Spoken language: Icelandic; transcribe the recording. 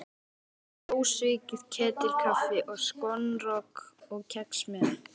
Þetta var ósvikið ketilkaffi og skonrok og kex með.